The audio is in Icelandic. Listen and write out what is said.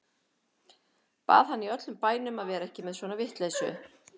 Bað hann í öllum bænum að vera ekki með svona vitleysu.